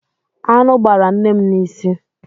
Aṅụ gbara nne m n'isi.